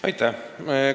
Aitäh!